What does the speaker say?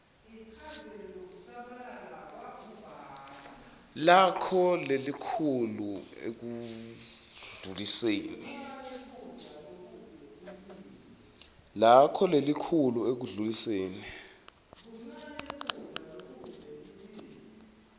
lakho lelikhulu ekundluliseni